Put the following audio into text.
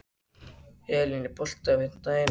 Elín, er bolti á fimmtudaginn?